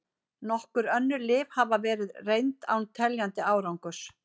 Nokkur önnur lyf hafa verið reynd án teljandi árangurs.